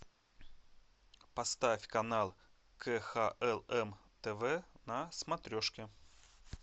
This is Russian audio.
поставь канал кхлм тв на смотрешке